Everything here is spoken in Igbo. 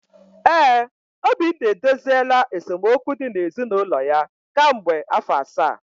ee, Obinna edoziela esemokwu dị na ezinụlọ ya ka mgbe afọ asaa.